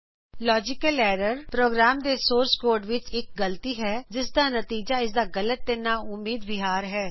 logical error program ਦੇ source code ਵਿਚ ਇਕ ਗਲਤੀ ਹੈ ਜਿਸਦਾ ਨਤੀਜਾ ਇਸਦਾ ਗਲਤ ਤੇ ਨਾਉਮੀਦ ਵਿਹਾਰ ਹੈ